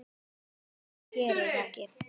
Hvað sem þú gerir, ekki.